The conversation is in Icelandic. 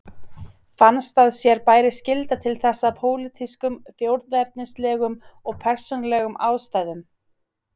Fannst að sér bæri skylda til þess af pólitískum, þjóðernislegum og persónulegum ástæðum.